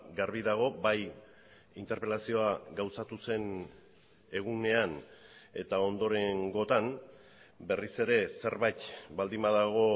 garbi dago bai interpelazioa gauzatu zen egunean eta ondorengotan berriz ere zerbait baldin badago